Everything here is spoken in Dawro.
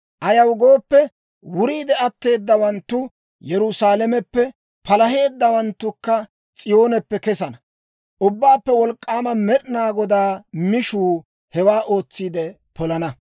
Ayaw gooppe, wuriidde atteedawaanttu Yerusaalameppe, palaheeddawanttukka S'iyooneppe kesana. Ubbaappe Wolk'k'aama Med'inaa Godaa mishuu hewaa ootsiide polana.